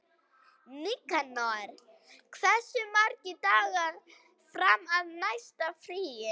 Nikanor, hversu margir dagar fram að næsta fríi?